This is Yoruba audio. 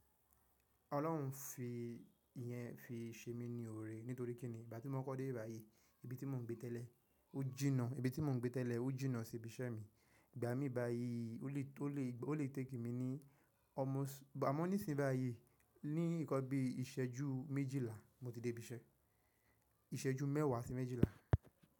Ọlọ́run fi ìyẹn fi ṣe mí ní òrè, nítorí kíni ìgbà tí mo kọ́ dé ìbi bayìí, ibi tí mo ń gbé tẹ́lẹ̀ ó jìnnà, ibi tí mo ń gbé tẹ́lẹ̀ ó jìnnà sí ibi iṣẹ́ mi. Ìgbà mí ìbà yìí ó lè, tó lè, ó lè take mi ní almost, àmọ́ nísìn bàyìí ni ìkọbi ìṣẹ́jú méjìlá mo ti dé ibi iṣẹ́, ìṣẹ́jú mẹ́wàá sí méjìlá.